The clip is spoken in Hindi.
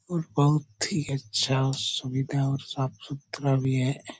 और बहुत ही अच्छा सुविधा है और साफ़-सुथरा भी है।